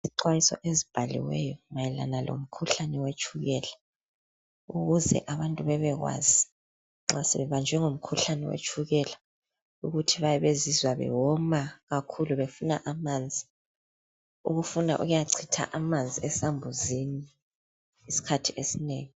Izixwayiso ezibhaliweyo mayelana lomkhuhlane wetshukela ukuze abantu bebekwazi nxa sebebanjwe ngumkhuhlane wetshukela ukuthi bayabe bezizwa bewoma kakhulu befuna amanzi, ukufuna ukuyachitha amanzi esambuzini ngesikhathi esinengi.